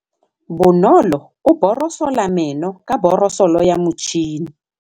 Bonolô o borosola meno ka borosolo ya motšhine.